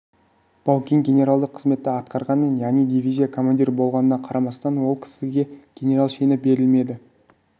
баукең генералдық қызметті атқарғанымен яғни дивизия командирі болғанына қарамастан ол кісіге генерал шені берілмеді